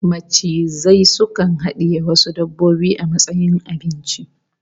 Macizai sukan hadiye wasu dabbobin a matsayin abinci